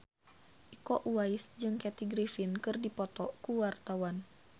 Iko Uwais jeung Kathy Griffin keur dipoto ku wartawan